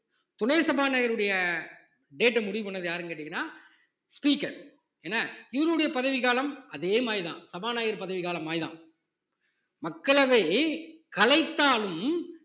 துணை சபாநாயகருடைய date அ முடிவு பண்ணது யாருன்னு கேட்டீங்கன்னா speaker என்ன இவருடைய பதவிக்காலம் அதே மாதிரிதான் சபாநாயகர் பதவி காலம் மாதிரிதான் மக்களவை கலைத்தாலும்